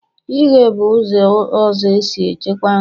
ighe bụ ụzọ ọzọ e si echekwa nri.